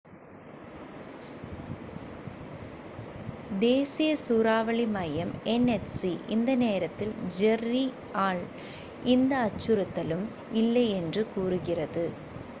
தேசிய சூறாவளி மையம் nhc இந்த நேரத்தில் ஜெர்ரி ஆல் எந்த அச்சுறுத்தலும் இல்லை என்று கூறுகிறது